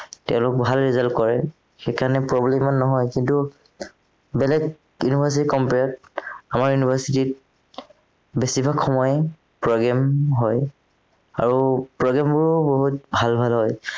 তেওঁলোক ভাল result কৰে সেইকাৰণে problem ইমান নহয় কিন্তু বেলেগ university ৰ compare ত আমাৰ university ত বেছিভাগ সময়েই programme হয় আৰু programme বোৰো বহুত ভাল ভাল হয়